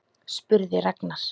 spurði Ragnar.